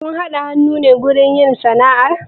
Kun haɗa hannu ne wajen yin sana'ar?